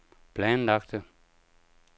planlagte